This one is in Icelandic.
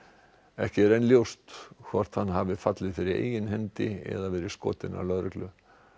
ekki er enn ljóst hvort hann hafi fallið fyrir eigin hendi eða verið skotinn af lögreglu